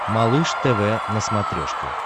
малыш тв на смотрешке